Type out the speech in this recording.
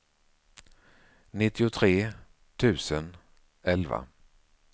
nittiotre tusen elva